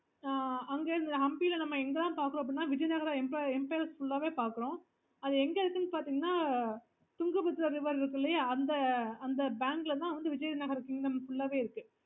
அங்க இருந்து hampi ல நம்ம என்ன என்ன லாம் பாக்குறோம் அப்பிடின்னா vijayanagar empire full ஆவே அது எங்க இருக்குனு பாத்தோம்ன்னா Tungabhadra river இருக்கு இல்லையா அங்க இருந்துதான் vijaynagar kingdom full ஆவே இருக்கு